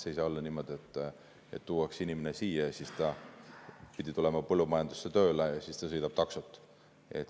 Ei saa olla niimoodi, et tuuakse inimene siia, ta pidi tulema põllumajandusse tööle, aga ta sõidab taksot.